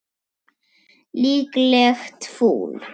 Líklegt fúl.